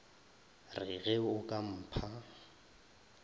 re ge o ka mpha